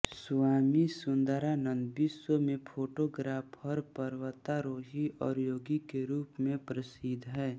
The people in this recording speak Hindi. स्वामी सुंदरानंद विश्व में फोटोग्राफर पर्वतारोही और योगी के रूप में प्रसिद्ध हैं